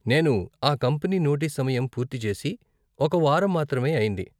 నేను ఆ company notice సమయం పూర్తి చేసి ఒక వారం మాత్రమే అయింది.